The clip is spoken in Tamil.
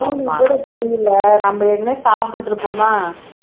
evening கூட தெரியல நம்ம ஏற்கனவே சாப்பிட்டுட்டு இருப்போமா